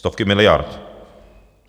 Stovky miliard!